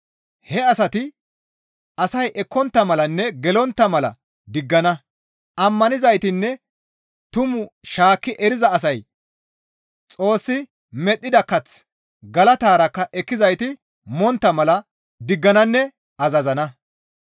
He asati asay ekkontta malanne gelontta mala diggana; ammanizaytinne tumaa shaakki eriza asay Xoossi medhdhida kath galatarakka ekkizayti montta mala diggananne azazana.